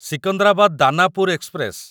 Secunderabad Danapur express